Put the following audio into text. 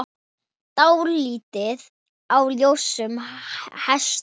Dálæti á ljósum hestum